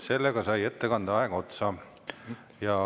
Sellega sai ettekande aeg otsa.